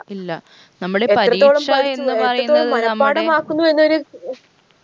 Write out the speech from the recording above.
ഇല്ല നമ്മള് പരീക്ഷ എന്ന് പറയുന്നത് നമ്മുടെ